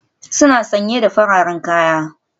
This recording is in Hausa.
Suna sanye da fararen kaya.